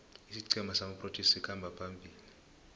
isiqhema samaproteas sikhamba phambili